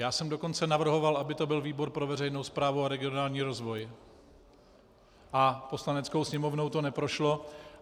Já jsem dokonce navrhoval, aby to byl výbor pro veřejnou správu a regionální rozvoj, a Poslaneckou sněmovnou to neprošlo.